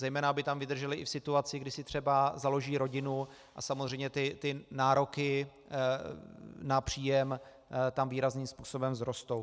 Zejména aby tam vydrželi i v situaci, kdy si třeba založí rodinu a samozřejmě ty nároky na příjem tam výrazným způsobem vzrostou.